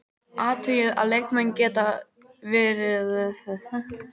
Athugið að leikmenn geta verið þegar búnir að taka bannið út.